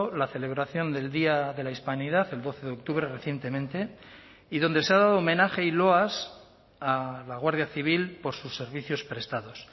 la celebración del día de la hispanidad el doce de octubre recientemente y donde se ha dado homenaje y loas a la guardia civil por sus servicios prestados